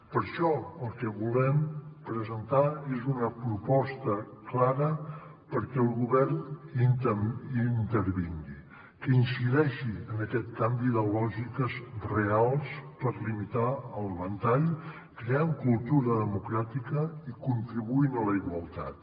per això el que volem presentar és una proposta clara perquè el govern hi intervingui que incideixi en aquest canvi de lògiques reals per limitar el ventall creant cultura democràtica i contribuint a la igualtat